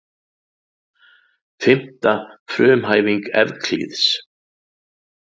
Fimmta frumhæfing Evklíðs.